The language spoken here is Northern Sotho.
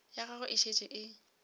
ya gagwe e šetše e